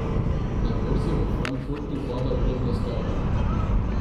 Na borzi v Frankfurtu pada vrednost evra.